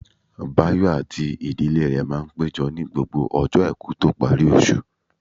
Báyọ̀ àti ìdílé rẹ̀ máa péjọ ní gbogbo ọjọ́ àìkú tó parí oṣù